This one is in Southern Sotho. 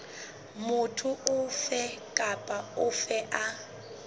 motho ofe kapa ofe a